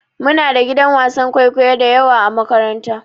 Muna da gidan wasan kwaikwayo dayawa a makaranta.